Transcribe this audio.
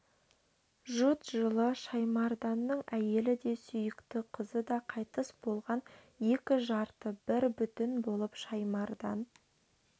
жұт жылы шаймарданның әйелі де сүйікті қызы да қайтыс болған екі жарты бір бүтін болып шаймардан